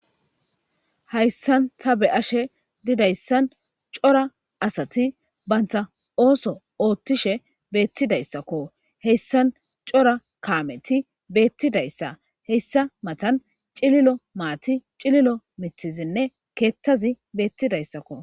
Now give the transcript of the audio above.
hayssan ta beyashe didayssan cora asati banta ooso oothtishe beettidayssakko heyssan cora kaameti beettidayssa heyssa matan cililo maati cililo mithizinne keettazi beettidayssakko